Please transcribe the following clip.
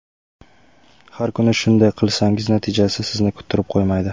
Har kuni shunday qilsangiz natijasi sizni kuttirib qo‘ymaydi.